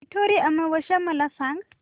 पिठोरी अमावस्या मला सांग